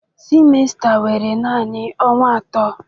semester were naanị ọnwa atọ